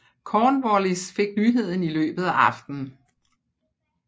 Cornwallis fik nyheden i løbet af aftenen